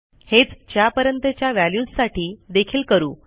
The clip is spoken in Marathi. हेच च्यापर्यंतच्या व्हॅल्यूजसाठी देखील करू